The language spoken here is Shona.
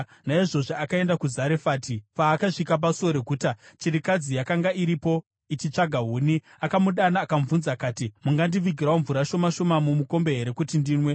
Naizvozvo akaenda kuZarefati. Paakasvika pasuo reguta, chirikadzi yakanga iripo ichitsvaga huni. Akamudana akamubvunza akati, “Mungandivigirawo mvura shoma shoma mumukombe here kuti ndinwe?”